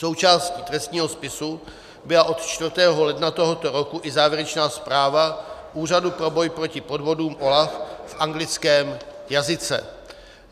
Součástí trestního spisu byla od 4. ledna tohoto roku i závěrečná zpráva Úřadu pro boj proti podvodům, OLAF, v anglickém jazyce.